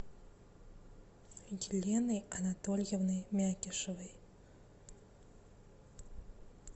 еленой анатольевной мякишевой